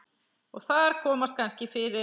Og þar komast kannski fyrir